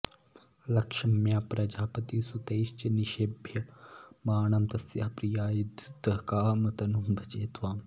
लक्ष्म्या प्रजापतिसुतैश्च निषेव्यमाणं तस्याः प्रियाय धृतकामतनुं भजे त्वाम्